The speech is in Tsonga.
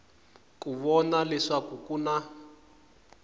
ku vona leswaku ku na